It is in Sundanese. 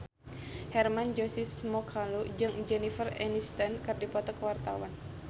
Hermann Josis Mokalu jeung Jennifer Aniston keur dipoto ku wartawan